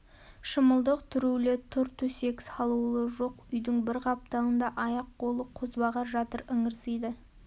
шымылдық түрулі тұр төсек салулы жоқ үйдің бір қапталында аяқ-қолы қозбағар жатыр ыңырсиды